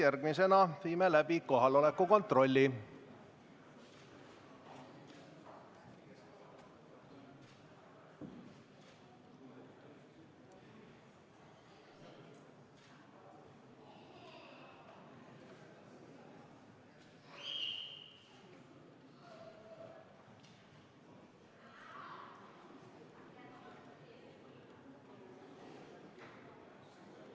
Järgmisena viime läbi kohaloleku kontrolli.